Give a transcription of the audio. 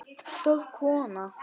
Stór kona.